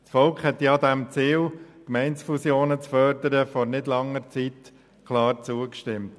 Das Volk hat dem Ziel, Gemeindefusionen zu fördern, vor nicht langer Zeit klar zugestimmt.